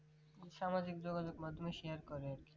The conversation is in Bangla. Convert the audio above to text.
সামাজিক যোগাযোগের মাধ্যমে share করে